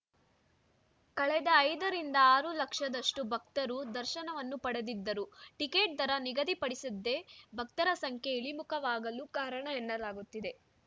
ಕಳೆದ ಐದರಿಂದ ಆರು ಲಕ್ಷದಷ್ಟು ಭಕ್ತರು ದರ್ಶನವನ್ನು ಪಡೆದಿದ್ದರು ಟಿಕೆಟ್‌ ದರ ನಿಗದಿ ಪಡಿಸಿದ್ದೇ ಭಕ್ತರ ಸಂಖ್ಯೆ ಇಳಿಮುಖವಾಗಲು ಕಾರಣ ಎನ್ನಲಾಗುತ್ತಿದೆ